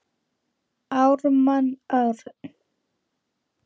Ármann Örn.